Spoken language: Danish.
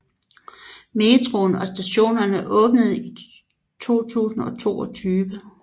Metroen og stationerne åbnede i 2022